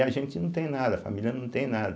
E a gente não tem nada, a família não tem nada.